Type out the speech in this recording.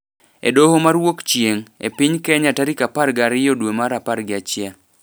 e doho ma Wuokchieng’, e piny Kenya tarik apar gi ariyo dwe mar apar gi achiel.